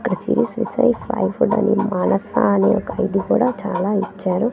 మానస అని ఒక ఇది కూడా చాలా ఇచ్చారు--